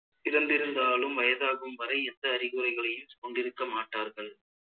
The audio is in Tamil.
பிறந்திருந்தாலும் வயதாகும் வரை எந்த அறிகுறிகளையும் கொண்டிருக்கமாட்டார்கள்